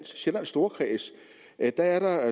sjællands storkreds at der er der